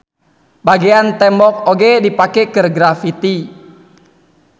Bagean tembok oge dipake keur graffiti.